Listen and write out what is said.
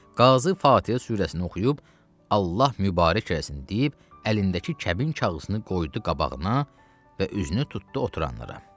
Qazı Fatihə surəsini oxuyub Allah mübarək eləsin deyib, əlindəki kəbin kağızını qoydu qabağına və üzünü tutdu oturanlara.